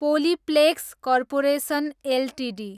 Polyplex corporation Ltd